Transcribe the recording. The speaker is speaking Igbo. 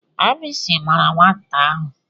Agbisi gbara nwata ahụ.